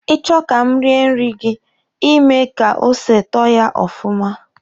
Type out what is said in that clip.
Ị chọ ka m rie nri gị, Ị mee ka ose tọọ ya ọfụma.